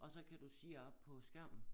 Og så kan du se op på skærnen